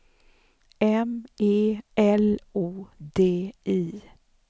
M E L O D I